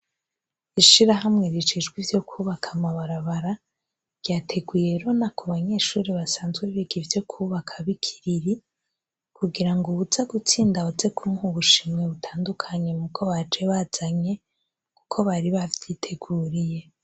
Ishirahamwe rijejwe ivyo kwubaka amabarabara, ryateguye rona ku banyeshuri basanzwe biga ivyo kubaka b'i Kiriri, kugira ngo uwuza gutsinda baze kumuha ubushimwe butandukanye mubwo baje bazanye, kuko bari bavyiteguriye.